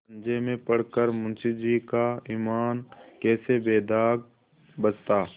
पंजे में पड़ कर मुंशीजी का ईमान कैसे बेदाग बचता